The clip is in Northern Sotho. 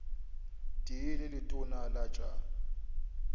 tee le letona la tša